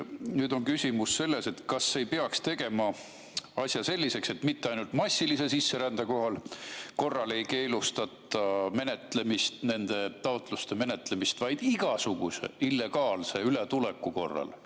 Nüüd on küsimus selles, kas ei peaks tegema asja selliseks, et mitte ainult massilise sisserände korral ei keelustata nende taotluste menetlemist, vaid igasuguse illegaalse ületuleku korral.